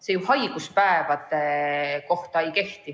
See ju haiguspäevade kohta ei kehti.